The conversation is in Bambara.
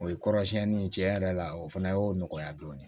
O ye kɔrɔsiɲɛni tiɲɛ yɛrɛ la o fana y'o nɔgɔya dɔɔnin